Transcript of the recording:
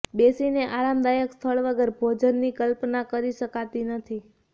બેસીને આરામદાયક સ્થળ વગર ભોજનની કલ્પના કરી શકાતી નથી